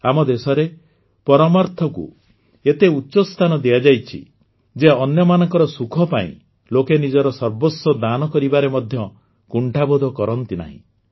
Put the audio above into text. ଆମ ଦେଶରେ ପରମାର୍ଥକୁ ଏତେ ଉଚ୍ଚ ସ୍ଥାନ ଦିଆଯାଇଛି ଯେ ଅନ୍ୟମାନଙ୍କ ସୁଖ ପାଇଁ ଲୋକେ ନିଜର ସର୍ବସ୍ୱ ଦାନ କରିବାରେ ମଧ୍ୟ କୁଣ୍ଠାବୋଧ କରନ୍ତି ନାହିଁ